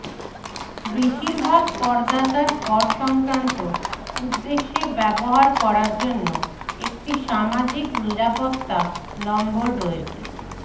বেশিরভাগ করদাতার কর সংক্রান্ত উদ্দেশ্যে ব্যবহার করার জন্য একটি সামাজিক নিরাপত্তা নম্বর রয়েছে